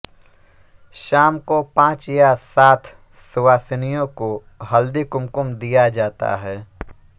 शाम को पाँच या साथ सुवासिनियों को हल्दीकुमकुम दिया जाता है